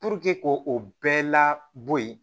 k'o o bɛɛ la bɔ yen